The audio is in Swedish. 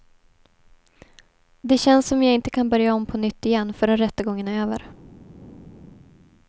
Det känns som jag inte kan börja om på nytt igen förrän rättegången är över.